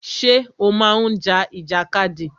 Ṣé o má ń ja ìjàkadì?